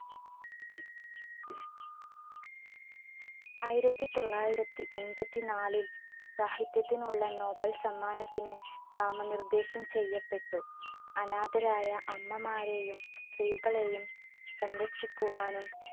ആയിരത്തിത്തൊള്ളായിരത്തി എൺപത്തിനാലിൽ സാഹിത്യത്തിനുള്ള nobel സമ്മാനത്തിന് നാമനിർദേശം ചെയ്യപ്പെട്ടു. അനാഥരായ അമ്മമാരെയും, സ്ത്രീകളെയും സംരക്ഷിക്കുവാനും,